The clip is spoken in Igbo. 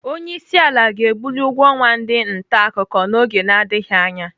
Onyeisiala ga-ebuli ụgwọ ọnwa ndị ntaakụkọ n'oge na-adịghị anya.